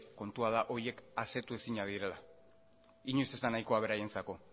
kontua da horiek asetu ezinak direla inoiz ez da nahiko beraientzako